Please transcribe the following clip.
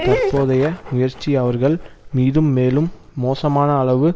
தற்போதைய முயற்சி அவர்கள் மீது மேலும் மோசமான அளவு